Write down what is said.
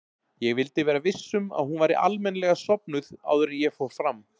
Ég vildi vera viss um að hún væri almennilega sofnuð áður en ég fór fram.